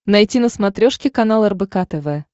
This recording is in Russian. найти на смотрешке канал рбк тв